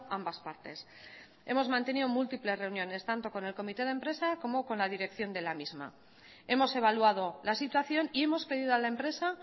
ambas partes hemos mantenido múltiples reuniones tanto con el comité de empresa como con la dirección de la misma hemos evaluado la situación y hemos pedido a la empresa